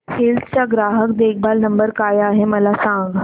hills चा ग्राहक देखभाल नंबर काय आहे मला सांग